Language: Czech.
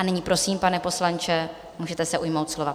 A nyní prosím, pane poslanče, můžete se ujmout slova.